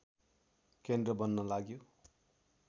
केन्द्र बन्न लाग्यो